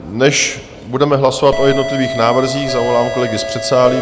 Než budeme hlasovat o jednotlivých návrzích, zavolám kolegy z předsálí.